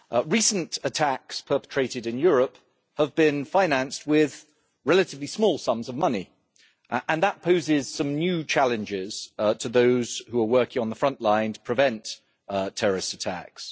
Recent attacks perpetrated in Europe have been financed with relatively small sums of money, and that poses some new challenges to those who are working on the front line to prevent terrorist attacks.